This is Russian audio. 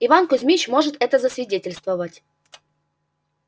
иван кузмич может это засвидетельствовать